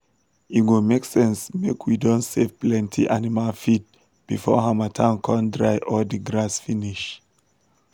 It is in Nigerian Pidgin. e go make sense make we don save plenty animal feed before harmattan come dry all d grass finish.